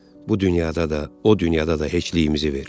Bu dünyada da, o dünyada da heçliyimizi ver.